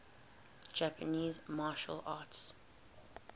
japanese martial arts